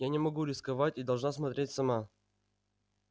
я не могу рисковать и должна смотреть сама